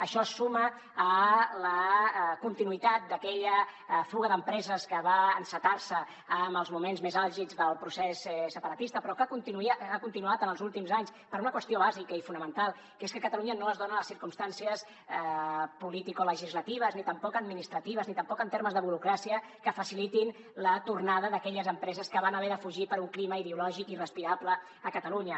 això es suma a la continuïtat d’aquella fuga d’empreses que va encetar se en els moments més àlgids del procés separatista però que ha continuat en els últims anys per una qüestió bàsica i fonamental que és que a catalunya no es donen les circumstàncies politicolegislatives ni tampoc administratives ni tampoc en termes de burocràcia que facilitin la tornada d’aquelles empreses que van haver de fugir per un clima ideològic irrespirable a catalunya